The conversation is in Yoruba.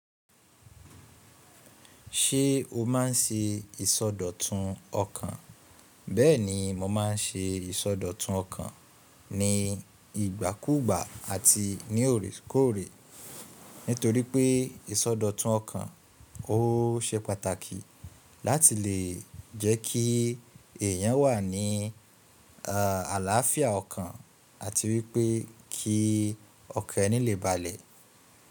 Ṣé o má n ṣe ìsọdọ̀tun ọkàn? Bẹ́ẹ̀ni mo má n ṣe ìsọdọ̀tun ọkàn ní ìgbàkúgbà àti ní òrékòré, nítorí pé ìsọdọ̀tun ọkàn ó ṣe pàtàkì láti lè jẹ́ kí èèyàn wà ní àlàáfíà ọkàn àti wípé kí ọ̀kan ní lè balẹ̀.